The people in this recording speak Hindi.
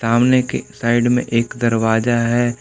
सामने के साइड में एक दरवाजा है।